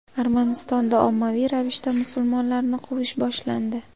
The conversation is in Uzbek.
Armanistonda ommaviy ravishda musulmonlarni quvish boshlandi .